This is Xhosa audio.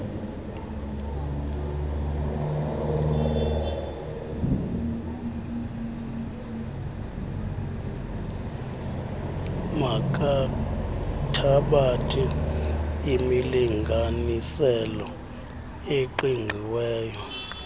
makathabathe imilinganiselo eqiqiweyo